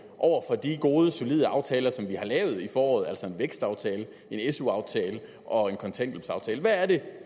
over for de gode solide aftaler som vi har lavet i foråret altså en vækstaftale en su aftale og en kontanthjælpsaftale hvad er det